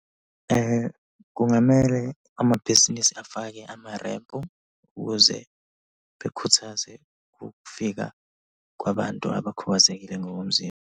Kungamele amabhizinisi afake amarempu ukuze bekhuthaze ukufika kwabantu abakhubazekile ngokomzimba.